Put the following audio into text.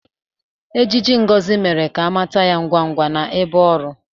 Ejiji Ngozi mere ka a mata ya ngwa ngwa n'ebe ọrụ.